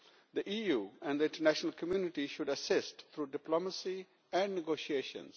The EU and the international community should assist through diplomacy and negotiations.